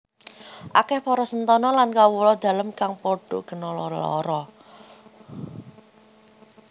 Akeh para sentana lan kawula dalem kang padha kena lelara